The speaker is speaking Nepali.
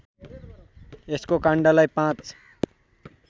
यसको काण्डलाई ५